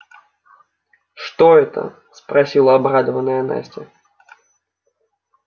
что это спросила обрадованная настя